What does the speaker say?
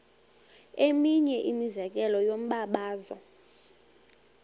eminye imizekelo yombabazo